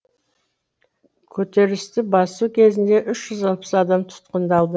көтерілісті басу кезінде үш жүз алпыс адам тұтқындалды